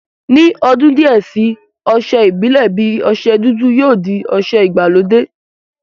Ni odun díẹ̀ si, ọsẹ ìbílè bi ọsẹ dúdú yóò di ọsẹ ìgbàlódé